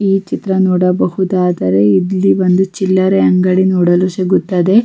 ಅದು ಜನ್ ಗಳ್ಗೆ ಒಂತರ ಅನ್ ಕೂಲನೆ ಅಂತ ಹೇಳ್ಬೋದು ಬಿಸ್ಲಲ್ಲಿ ಹೋಗ್ ಬಂದೋರಿಗೆ ಸುಸ್ತಾದ್ರೆ--